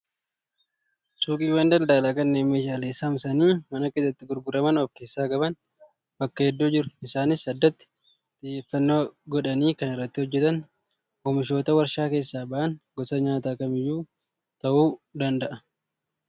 Suuqiiwwan daldalaa kanneen meeshaalee saamsanii mana keessatti gurguraman of keessaa qaban bakka hedduu jiru. Isaanis addatti xiyyeeffannoo godhanii kan irratti hojjatan oomishoota warshaa keessaa bahan gosa nyaataa kamiyyuu ta'uu danda'a.